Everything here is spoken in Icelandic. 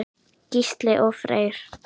Gísli og Freyr.